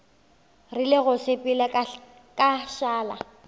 rile go sepela ka šala